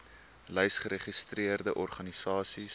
lys geregistreerde organisasies